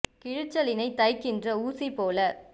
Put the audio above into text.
கிழிச்சலினைத் தைக்கின்ற ஊசி போல